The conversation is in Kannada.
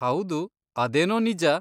ಹೌದು, ಅದೇನೋ ನಿಜ.